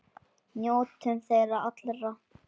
Njótum þeirra allra.